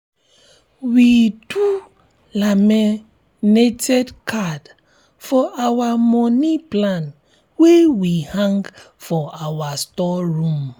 we do laminated card for our moni plan wey we hang for our store room.